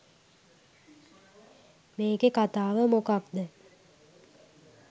මේකෙ කථාව මොකක්ද